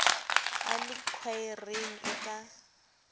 a le khwaereng e ka